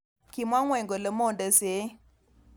Kimwa ngwony kole"monde sein".